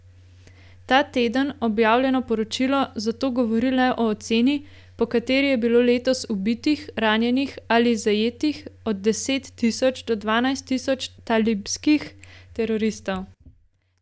Ta teden objavljeno poročilo zato govori le o oceni, po kateri je bilo letos ubitih, ranjenih ali zajetih od deset tisoč do dvanajst tisoč talibskih teroristov.